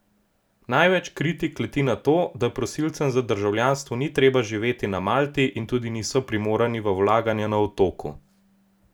Največ kritik leti na to, da prosilcem za državljanstvo ni treba živeti na Malti in tudi niso primorani v vlaganja na otoku.